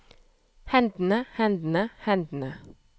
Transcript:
hendene hendene hendene